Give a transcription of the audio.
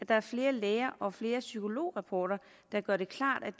der er flere læger og flere psykolograpporter der gør det klart at